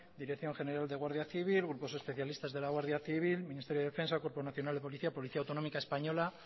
dirección general de guardia civil grupos especialistas de la guardia civil ministerio de defensa cuerpo nacional de policía policía autonómica española